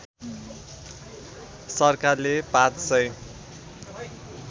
सरकारले ५ सय